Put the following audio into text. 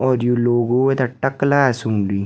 और ये लोगो वेथें टक लागेके सुन सूंधी।